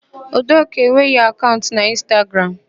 Udoka enweghị akaụnt n'Ịnstagram.